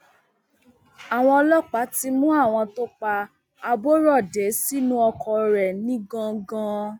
àwọn ọlọpàá ti mú àwọn tó pa aborọdé sínú ọkọ rẹ nìgangan